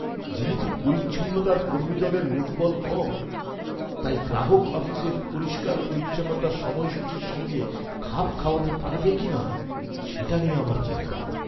যেহেতু পরিচ্ছন্নতার কর্মীদলের লোকবল কম, তাই গ্রাহক অফিসের পরিষ্কার পরিচ্ছন্নতার সময়সূচীর সঙ্গে খাপ খাওয়াতে পারবে কিনা সেটা নিয়ে আমার চিন্তা।